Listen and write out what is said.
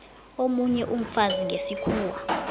omunye umfazi ngesikhuwa